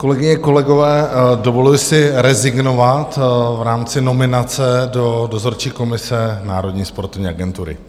Kolegyně, kolegové, dovoluji si rezignovat v rámci nominace do Dozorčí komise Národní sportovní agentury.